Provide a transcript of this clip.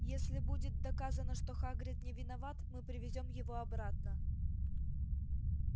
если будет доказано что хагрид не виноват мы привезём его обратно